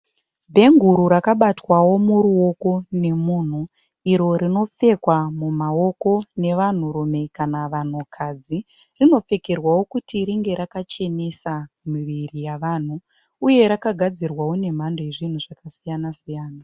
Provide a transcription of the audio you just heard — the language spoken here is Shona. Bhenguru rakabatwao muruoko nemunhu. Iro rinopfekwa mumaoko nevanhurume kana vanhukadzi. Rinopfekerwao kuti ringe rakachenesa miviri yavanhu uye rakagadzirwao nemhando yezvinhu zvakasiyana siyana.